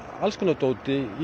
alls konar dóti í